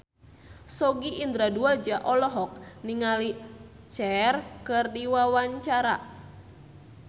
Sogi Indra Duaja olohok ningali Cher keur diwawancara